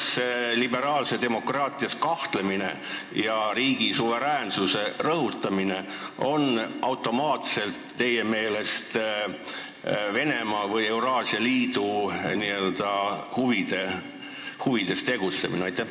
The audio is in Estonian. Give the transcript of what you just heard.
Kas liberaalses demokraatias kahtlemine ja riigi suveräänsuse rõhutamine on automaatselt teie meelest Venemaa või Euraasia Liidu huvides tegutsemine?